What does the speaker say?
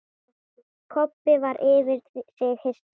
Kobbi var yfir sig hissa.